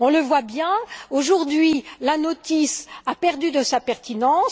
On le voit bien, aujourd'hui, la notice a perdu de sa pertinence.